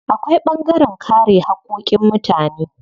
Akwai ɓangaren kare haƙƙoƙin mutane.